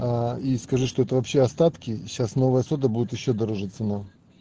аа и скажи что это вообще остатки и сейчас новая сода будет ещё дороже цена